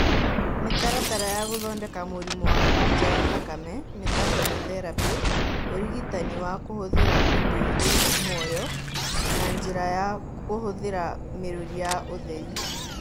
Mĩtaratara ya gũthondeka mũrimũ wa kanja ya thakame nita kemotherapĩ, ũrigitani wa kũhũthĩra indo irĩ muoyo , na njĩra ya kũhũthĩra mĩrũri ya ũtheri.